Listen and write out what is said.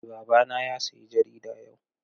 Eh babana ya sayi jarida yau.